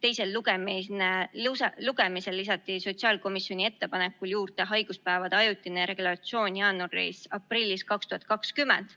Eelnõu 257 teisel lugemisel lisati sellele sotsiaalkomisjoni ettepanekul juurde haiguspäevade ajutine regulatsioon jaanuariks-aprilliks 2020.